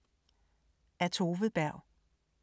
Af Tove Berg